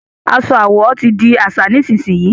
aṣọ àwọ tí dì àṣà nísìsiyìí!